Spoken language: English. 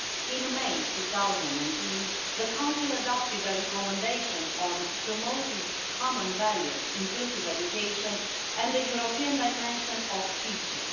In May 2018, the Council adopted a recommendation on promoting common values, inclusive education and the European dimension of teaching.